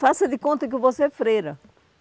Faça de conta que eu vou ser freira.